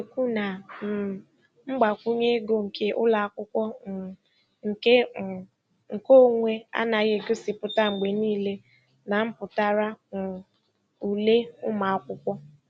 Ọ na-ekwu na um mgbakwunye ego nke ụlọakwụkwọ um nke um nke onwe anaghị egosipụta mgbe niile na mpụtara um ule ụmụakwụkwọ.